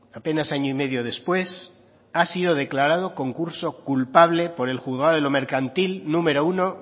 apenas año y medio después ha sido declarado concurso culpable por el juzgado de lo mercantil número uno